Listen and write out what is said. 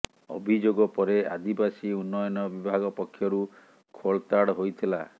ଅଭିଯୋଗ ପରେ ଆଦିବାସୀ ଉନ୍ନୟନ ବିଭାଗ ପକ୍ଷରୁ ଖୋଳତାଡ଼ ହୋଇଥିଲା